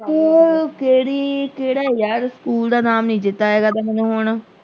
School ਕਿਹੜੀ ਕਿਹੜਾ ਆ ਯਾਰ school ਦਾ ਨਾਮ ਨਹੀਂ ਚੇਤਾ ਹੈਗਾ ਤੇ ਮੈਨੂੰ ਹੁਣ।